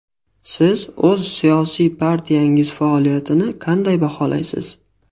Siz o‘z siyosiy partiyangiz faoliyatini qanday baholaysiz?